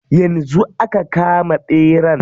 Yanzu aka kama ɓeran.